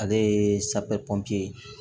Ale ye safinɛ pɔnpe ye